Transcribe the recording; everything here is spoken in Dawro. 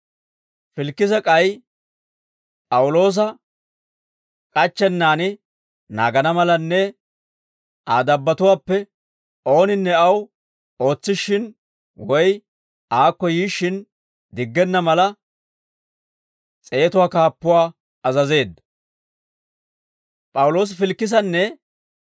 Filikise k'ay P'awuloosa k'achchennaan naagana malanne Aa dabbatuwaappe ooninne aw ootsishshin, woy aakko yiishshin diggenna mala, s'eetatuwaa kaappuwaa azazeedda.